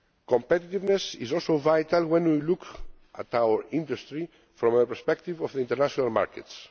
Competitiveness is also vital when we look at our industry from the perspective of the international markets.